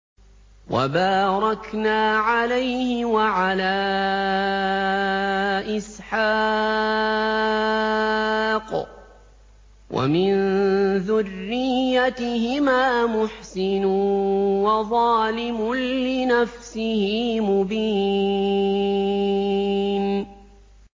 وَبَارَكْنَا عَلَيْهِ وَعَلَىٰ إِسْحَاقَ ۚ وَمِن ذُرِّيَّتِهِمَا مُحْسِنٌ وَظَالِمٌ لِّنَفْسِهِ مُبِينٌ